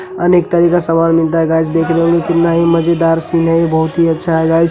अनेक तरह का सामान मिलता है गाइस देख रहे होंगे कितना ही मजेदार सीन है ये बहुत ही अच्छा है गाइस ।